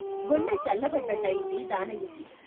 గుండె చల్లబడ్డట్టయింది దానయ్యకి.